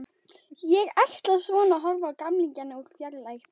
Ég ætla svona að horfa á gamlingjana úr fjarlægð.